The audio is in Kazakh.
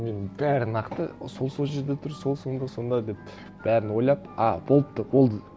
мен бәрі нақты сол сол жерде тұр сол сонда сонда деп бәрін ойлап а болыпты болды